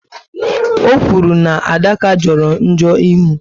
O okwuru na Adaka joro njo ịhụ